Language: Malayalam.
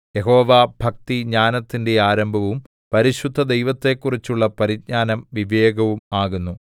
യഹോവാഭക്തി ജ്ഞാനത്തിന്റെ ആരംഭവും പരിശുദ്ധ ദൈവത്തെക്കുറിച്ചുള്ള പരിജ്ഞാനം വിവേകവും ആകുന്നു